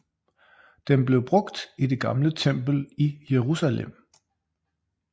Den blev brugt i det gamle tempel i Jerusalem